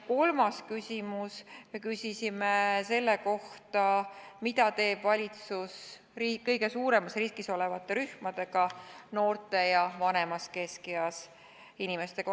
Kolmanda küsimuse me küsisime selle kohta, mida teeb valitsus kõige suuremas riskis olevate rühmadega, noorte ja vanemas keskeas inimestega.